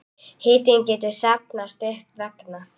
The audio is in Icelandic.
Hiti getur safnast upp vegna